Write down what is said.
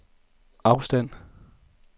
afstand